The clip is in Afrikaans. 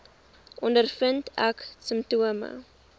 ondervind ek simptome